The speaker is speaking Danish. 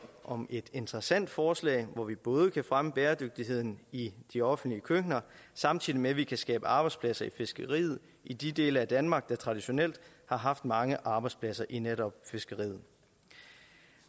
om et interessant forslag hvor vi både kan fremme bæredygtigheden i de offentlige køkkener samtidig med at vi kan skabe arbejdspladser i fiskeriet i de dele af danmark der traditionelt har haft mange arbejdspladser i netop fiskeriet